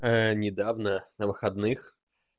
не давно на выходных